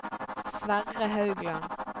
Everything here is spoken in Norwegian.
Sverre Haugland